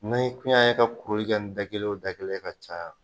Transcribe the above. N'i kun y'an ye ka kuruli kɛ ni da kelen o da kelen ye ka caya